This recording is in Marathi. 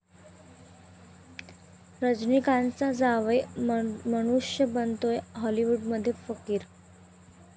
रजनीकांतचा जावई धनुष बनतोय हाॅलिवूडमध्ये फकीर